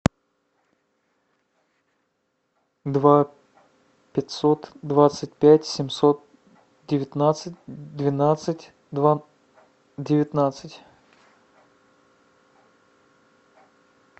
два пятьсот двадцать пять семьсот девятнадцать двенадцать два девятнадцать